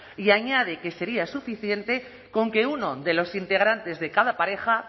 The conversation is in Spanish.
y añade que sería suficiente con que uno de los integrantes de cada pareja